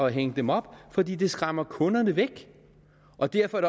at hænge dem op fordi det skræmmer kunderne væk og derfor er